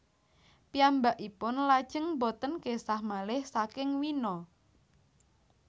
Piyambakipun lajeng boten késah malih saking Wina